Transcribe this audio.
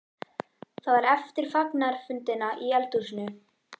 Það var eftir fagnaðarfundina í eldhúsinu.